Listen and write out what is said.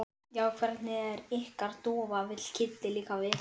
Það var eins og hríðarbylurinn hefði breyst í vorregn.